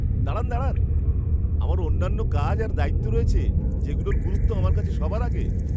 দাঁড়ান দাঁড়ান, আমার অন্যান্য কাজ আর দায়িত্ব রয়েছে যেগুলোর গুরুত্ব আমার কাছে সবার আগে!